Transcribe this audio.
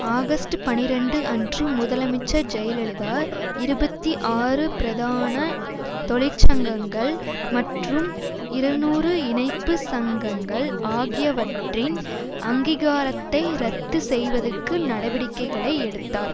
August பனிரண்டு அன்று முதலமைச்சர் ஜெயலலிதா இருபத்தி ஆறு பிரதான தொழிற்சங்கங்கள் மற்றும் இருநூறு இணைப்பு சங்கங்கள் ஆகியவற்றின் அங்கீகாரத்தை ரத்து செய்வதற்கு நடவடிக்கைகளை எடுத்தார்